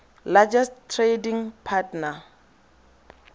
largest trading partner